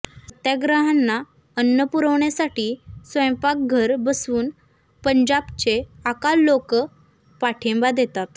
सत्याग्रह्यांना अन्न पुरवण्यासाठी स्वयंपाकघर बसवून पंजाबचे अकाल लोक पाठिंबा देतात